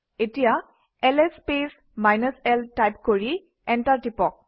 এতিয়া LS space -l type কৰি enter টিপক